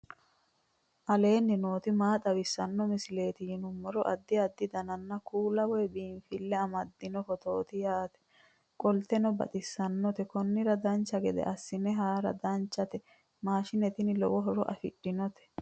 aleenni nooti maa xawisanno misileeti yinummoro addi addi dananna kuula woy biinsille amaddino footooti yaate qoltenno baxissannote konnira dancha gede assine haara danchate maashine tini lowo horo afidhinote